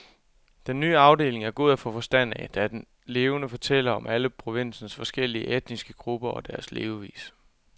Den nye afdeling er god at få forstand af, da den levende fortæller om alle provinsens forskellige etniske grupper og deres levevis.